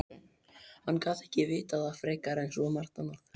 Hann gat ekki vitað það frekar en svo margt annað.